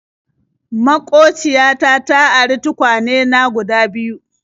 Maƙociya ta ta ari tukwane na guda biyu.